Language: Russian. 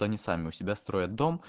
они сами у себя строят дом